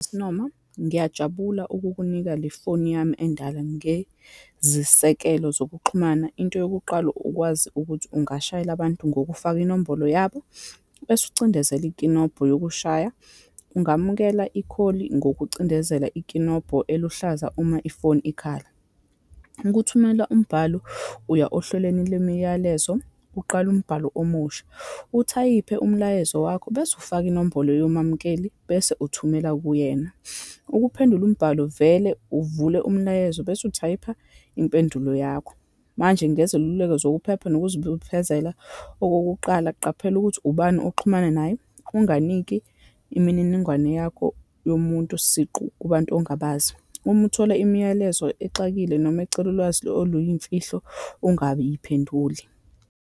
Sis' Noma, ngiyajabula ukukunika lefoni yami endala. Ngezisekelo zokuxhumana, into yokuqala ukwazi ukuthi ungashayela abantu ngokufaka inombolo yabo, bese ucindezela ikinobho yokushaya, ungamukela ikholi ngokucindezela ikinobho eluhlaza uma ifoni ikhala. Ukuthumela umbhalo, uya ohlelweni lemiyalezo, uqale umbhalo omusha, uthayiphe umlayezo wakho, bese ufaka inombolo yomamukeli, bese uthumela kuyena. Ukuphendula umbhalo, vele uvule umlayezo bese uthayipha impendulo yakho. Manje ngeziluleko zokuphepha nokuzibophezela. Okokuqala, qaphela ukuthi ubani oxhumana naye, unganiki imininingwane yakho yomuntu siqu kubantu ongabazi. Uma uthola imiyalezo exakile noma ecela ulwazi oluyimfihlo, ungabiphenduli.